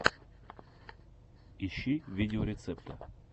ищи видеорецепты